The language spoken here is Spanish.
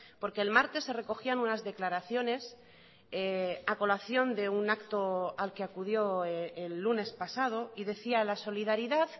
porque el martes se recogían unas declaraciones a colación de un acto al que acudió el lunes pasado y decía la solidaridad